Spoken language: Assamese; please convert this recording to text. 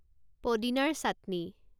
পদিনাৰ চাটনি